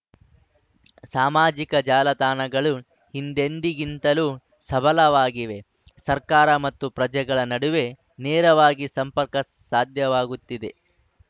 ಸಾಮಾಜಿಕ ಜಾಲತಾಣಗಳು ಹಿಂದೆಂದಿಗಿಂತಲೂ ಸಬಲವಾಗಿವೆ ಸರ್ಕಾರ ಮತ್ತು ಪ್ರಜೆಗಳ ನಡುವೆ ನೇರವಾಗಿ ಸಂಪರ್ಕ ಸಾಧ್ಯವಾಗುತ್ತಿದೆ